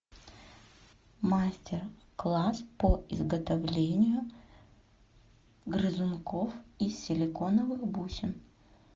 мастер класс по изготовлению грызунков из силиконовых бусин